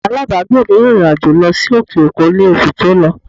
Alábàágbé mi rìnrìn àjò lọ sí òkè òkun ní oṣù tó lọ